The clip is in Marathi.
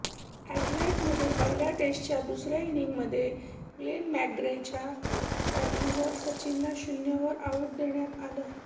अॅडलेडमध्ये पहिल्या टेस्टच्या दुसऱ्या इनिंगमध्ये ग्लेन मॅकग्राच्या बॉलिंगवर सचिनला शून्यवर आऊट देण्यात आलं